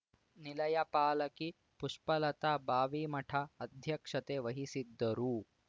ನಿಲಯ ಪಾಲಕಿ ಪುಷ್ಪಲತಾ ಬಾವಿಮಠ ಅಧ್ಯಕ್ಷತೆ ವಹಿಸಿದ್ದರು